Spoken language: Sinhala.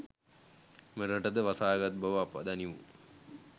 මෙරට ද වසාගත් බව අප දනිමු